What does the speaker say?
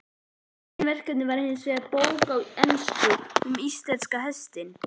Meginverkefnið var hinsvegar bók á ensku um íslenska hestinn, sem